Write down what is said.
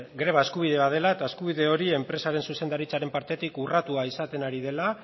greba eskubide bat dela eta eskubide hori enpresaren zuzendaritzaren partetik urratua izaten ari dela